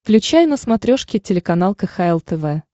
включай на смотрешке телеканал кхл тв